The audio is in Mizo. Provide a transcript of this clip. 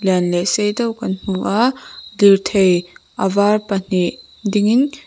lian leh sei deuh kan hmu a lirthei a var pahnih dingin.